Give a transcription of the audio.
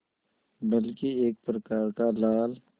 बल्कि एक प्रकार का लाल